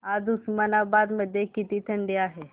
आज उस्मानाबाद मध्ये किती थंडी आहे